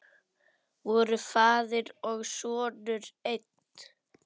Voru faðir og sonur einn?